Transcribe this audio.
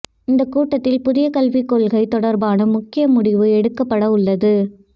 இந்தக் கூட்டத்தில் புதிய கல்விக் கொள்கை தொடா்பான முக்கிய முடிவு எடுக்கப்பட உள்ளது